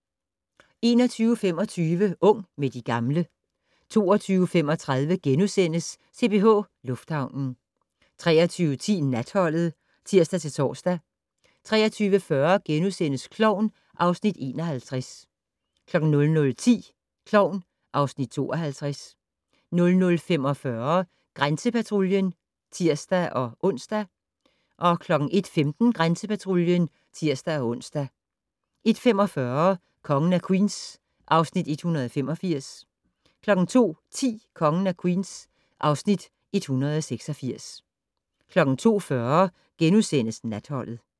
21:25: Ung med de gamle 22:35: CPH Lufthavnen * 23:10: Natholdet (tir-tor) 23:40: Klovn (Afs. 51)* 00:10: Klovn (Afs. 52) 00:45: Grænsepatruljen (tir-ons) 01:15: Grænsepatruljen (tir-ons) 01:45: Kongen af Queens (Afs. 185) 02:10: Kongen af Queens (Afs. 186) 02:40: Natholdet *